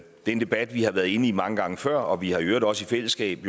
en debat vi har været inde i mange gange før og vi har i øvrigt også i fællesskab